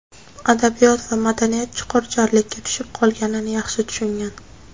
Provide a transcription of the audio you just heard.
adabiyot va madaniyat chuqur "jarlikka" tushib qolganini yaxshi tushungan.